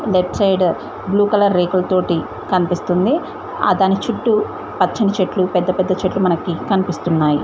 Left side blue colour రేకులతోటి కనిపిస్తుంది ఆ దాని చుట్టూ పచ్చని చెట్లు పెద్ద పెద్ద చెట్లు మనకి కనిపిస్తున్నాయ్.